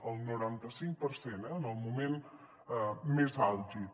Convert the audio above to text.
el noranta cinc per cent eh en el moment més àlgid